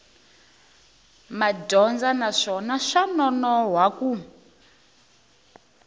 madyondza naswona swa nonoha ku